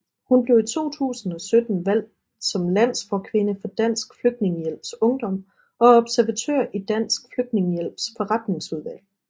Hun blev i 2017 valgt som landsforkvinde for Dansk Flygtningehjælps Ungdom og er observatør i Dansk Flygtningehjælps Forretningsudvalg